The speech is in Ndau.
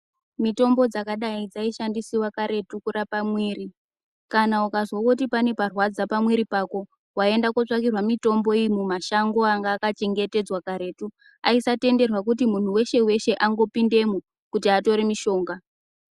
Mitombo dzakadai dzaishandiswa karetu kurapa mwiri kana ukazwa kuti pane parwadza pamwiri pako waienda kutsvakirwa mitombo iyi mumashango anag akachengetedzwa karetu aisatenderwa kuti munhu weshe weshe angopindemo atore mishonga.